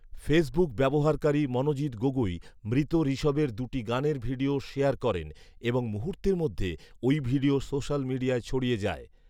Facebook ব্যবহারকারী মনজিত গগৌই মৃত ঋষভের দুটি গানের ভিডিও শেয়ার করেন এবং মুহূর্তের মধ্যে ওই ভিডিও সোশ্যাল মিডিয়ায় ছড়িয়ে যায়